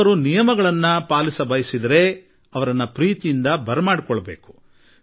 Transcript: ಅವರು ನಿಯಮಗಳನ್ನು ಪಾಲಿಸಬಯಸುವುದಾದರೆ ಅವರ ಕೈಹಿಡಿದು ಅವರನ್ನು ಪ್ರೋತ್ಸಾಹಿಸಿ ಪ್ರೀತಿಯಿಂದ ಕರೆತರೋಣ